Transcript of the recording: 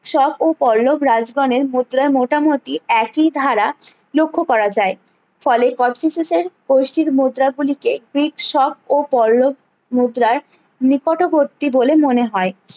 শোক ও পল্লব রাজগণের মুদ্রা মোটামুটি একই ধারা লক্ষ্য করা যায় ফলে কোচটিসিসের গোষ্ঠীর মুদ্রা গুলিকে গ্রীক শোক ও পল্লব মুদ্রাই নিকটবর্তী বলে মনে হয়